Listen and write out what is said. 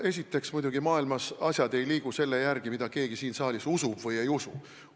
Esiteks, maailmas ei liigu asjad muidugi selle järgi, mida keegi siin saalis usub või ei usu.